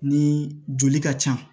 Ni joli ka can